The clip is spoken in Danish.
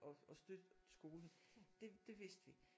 Og og støtte skolen det det vidste vi